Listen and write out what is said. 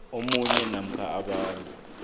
omunye namkha abanye